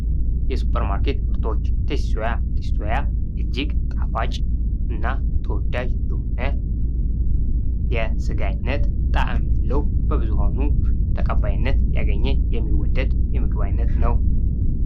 የ ሱፐርማርኬት ምርቶች ቴስቲ ሶያ እጅግ ጣፋጭ እና ተወዳጅ የሆነ የስጋ ዓይነት ጣዕም ያለው በብዙ ተቀባይነት ያገኘ የሚወደድ የምግብ አይነት ነው።